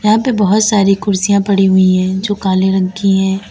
यहां पे बहुत सारी कुर्सियां पड़ी हुई है जो काले रंग की है।